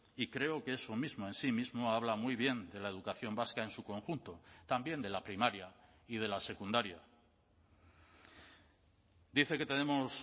y creo que eso mismo en sí mismo habla muy bien de la educación vasca en su conjunto también de la primaria y de la secundaria dice que tenemos